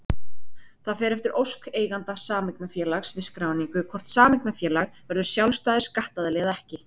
Það fer eftir ósk eiganda sameignarfélags við skráningu hvort sameignarfélag verður sjálfstæður skattaðili eða ekki.